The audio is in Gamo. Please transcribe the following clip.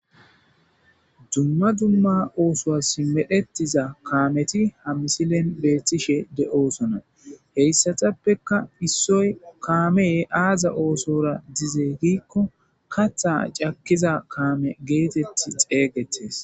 dumma dumma oosoa simedhettiza kaameti ha misilen beethtishe de7osona heyssatappeka issoy kaamee aaza oosora dizey gikko katha cakkiza kaame geetetti xeeygettes